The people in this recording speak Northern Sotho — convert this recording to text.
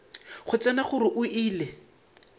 go tseba gore o ile